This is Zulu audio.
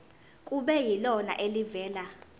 kube yilona elivela